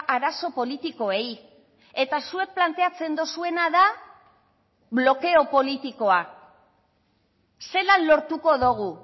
arazo politikoei eta zuek planteatzen duzuena da blokeo politikoa zelan lortuko dugu